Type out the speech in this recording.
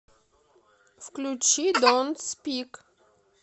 включи донт спик